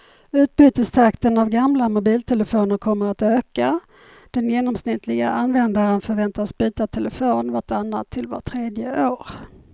Utbytestakten av gamla mobiltelefoner kommer att öka, den genomsnittliga användaren förväntas byta telefon vart annat till vart tredje år.